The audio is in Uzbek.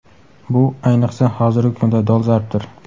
Bu ayniqsa, hozirgi kunda dolzarbdir..